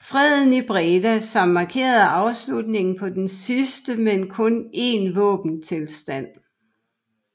Freden i Breda som markerede afslutningen på den sidste med kun en våbenstilstand